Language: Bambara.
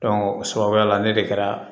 o sababuya la ne de kɛra